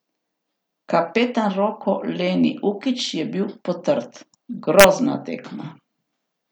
Kapetan Roko Leni Ukić je bil potrt: "Grozna tekma.